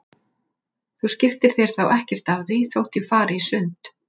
Þú skiptir þér þá ekkert af því þótt ég fari í sund?